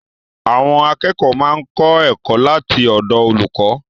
Àwọn akẹ́kọ̀ọ́ máa ń kọ́ ẹ̀kọ́ láti ọ̀dọ̀ olùkọ́